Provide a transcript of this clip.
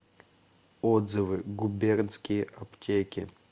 отзывы губернские аптеки